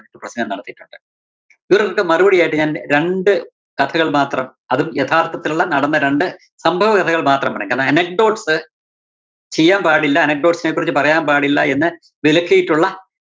പ്രസംഗം നടത്തിയിട്ടൊണ്ട്. ഇവര്‍ക്കൊക്കെ മറുപടിയായിട്ട്‌ ഞാന്‍ രണ്ട് കത്തുകള്‍ മാത്രം അതും യഥാര്‍ത്ഥത്തില്‍ ഒള്ള നടന്ന രണ്ട് സംഭവകഥകള്‍ മാത്രമാണ് anecdotes ചെയ്യാന്‍ പാടില്ല anecdotes നെ കുറിച്ച് പറയാന്‍ പാടില്ല എന്ന് വിലക്കിയിട്ടൊള്ള